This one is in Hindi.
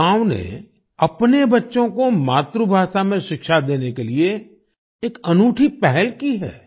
इस गांव ने अपने बच्चों को मातृभाषा में शिक्षा देने के लिए एक अनूठी पहल की है